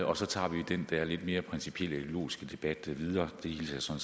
og så tager vi den der lidt mere principielle ideologiske debat videre det hilser